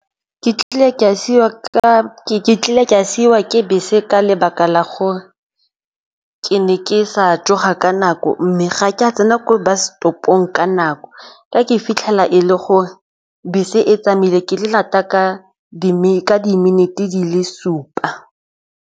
Ke tlile ke a siiwa ke bese ka lebaka la gore ke ne ke sa tsoga ka nako mme ga ke a tsena ko ba setopong ka nako ka ke fitlhela e le gore bese e tsamaile ke lata ka di-minute di le supa.